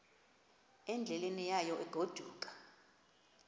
endleleni yayo egodukayo